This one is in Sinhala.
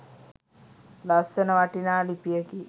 ලස්සන වටිනා ලිපියකි.